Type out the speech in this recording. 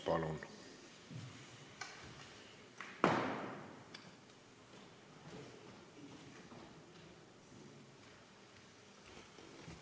Palun!